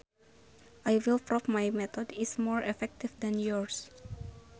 I will prove my method is more effective than yours